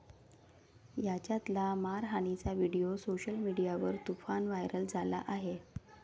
यांच्यातला मारहाणीचा video social मीडियावर तुफान व्हायरल झाला आहे.